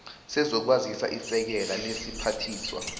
sezokwazisa isekela lesiphathiswa